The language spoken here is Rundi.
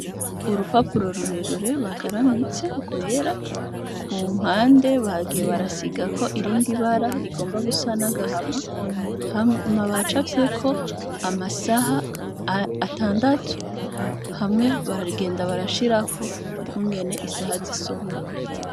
Urupapuro rurerure bagaramitse ngwera ku mpande bagiye barasiga ko irindi ibara rigomba gusa nagahama hama baca avyeko amasaha atandatu hamwe baragenda barashirako ukungene isaha zisomwa.